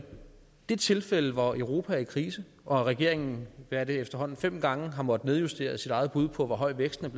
det tilfælde hvor europa er i krise og regeringen efterhånden fem gange har måttet nedjustere sit eget bud på hvor høj væksten er